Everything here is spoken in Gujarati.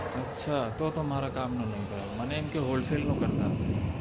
અચ્છા તો તો મારા કામ નું નય મને એમ કે હોલસેલ નું કરતા હશે